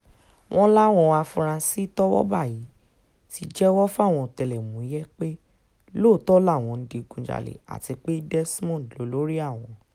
wọ́n láwọn afurasí tọ́wọ́ bá yìí ti jẹ́wọ́ fáwọn ọ̀tẹlẹ̀múyẹ́ pé lóòótọ́ làwọn ń digunjalẹ̀ àti pé desmond lolórí àwọn